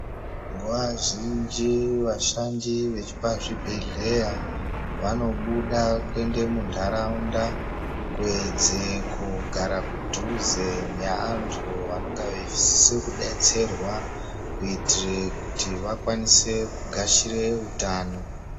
Nguwa zhinji vashandi vepazvibhedhlera vanobuda kuende muntaraunda kuwedzera kugara kudhuze neantu vanonga vaisisire kudetserwa kuitire kuti vakwanise kugashire utano.